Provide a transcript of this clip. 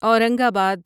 اورنگ آباد